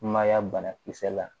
Mayiga banakisɛ la